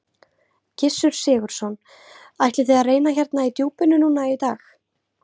Gissur Sigurðsson: Ætlið þið að reyna hérna í djúpinu núna í dag?